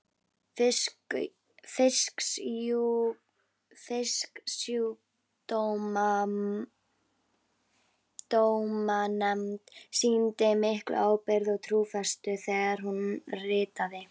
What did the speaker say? Fisksjúkdómanefnd sýndi mikla ábyrgð og trúfestu þegar hún ritaði